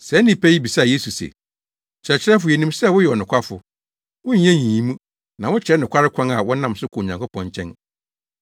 Saa nnipa yi bisaa Yesu se, “Kyerɛkyerɛfo, yenim sɛ woyɛ ɔnokwafo, wonyɛ nyiyimu na wokyerɛ nokware kwan a wɔnam so kɔ Onyankopɔn nkyɛn.